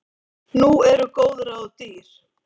Nú eru góð ráð dýr!